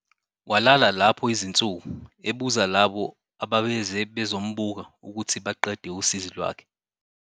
Walala lapho izinsuku, ebuza labo ababeze bezombuka ukuthi baqede usizi lwakhe.